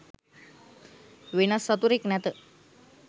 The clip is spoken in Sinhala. වෙනත් සතුරෙක් නැත.